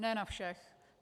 Ne na všech.